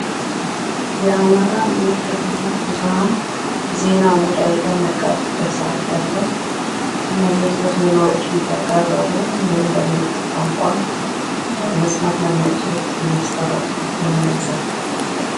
የአማራ መገናኛ ብዙሃን ዜና ሙዳይ በሚያቀርብበት ሰአት ላይ ያለ እና ዝርዝር ዜናዎችን እያቀረቡ እንድሁም በምልክት ቋንቋ መስማት ለማይችሉት የሚያስተረጉሙ የሚያሳይ።